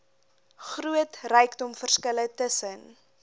groot rykdomverskille tussen